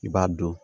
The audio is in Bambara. I b'a dɔn